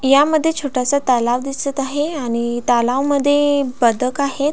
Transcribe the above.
यामध्ये छोटासा तलाव दिसत आहे आणि तलावमद्धे बदक आहे.